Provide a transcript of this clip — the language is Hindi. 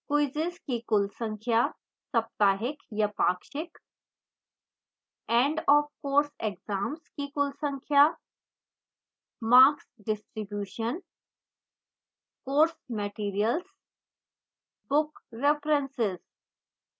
quizzes की कुल संख्या साप्ताहिक या पाक्षिक